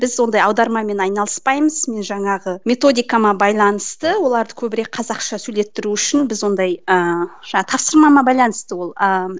біз ондай аудармамен айналыспаймыз міне жаңағы методикама байланысты оларды көбірек қазақша сөйлеттіру үшін біз ондай ыыы тапсырмама байланысты ол ыыы